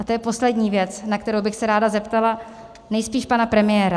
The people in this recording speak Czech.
A to je poslední věc, na kterou bych se ráda zeptala, nejspíš pana premiéra.